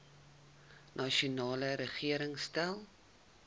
nasionale regering stel